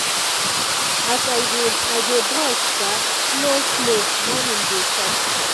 as i dey i dey brush [sha] slow-slow morning dey soft.